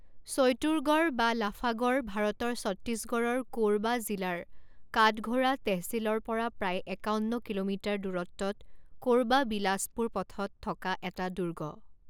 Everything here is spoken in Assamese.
চৈতুৰগড় বা লাফাগড় ভাৰতৰ ছত্তীশগড়ৰ কোৰবা জিলাৰ কাটঘোৰা টেহচিলৰ পৰা প্ৰায় একাৱন্ন কিলোমিটাৰ দূৰত্বত কোৰবা বিলাসপুৰ পথত থকা এটা দুৰ্গ।